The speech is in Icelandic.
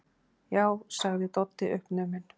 Já, sagði Doddi uppnuminn.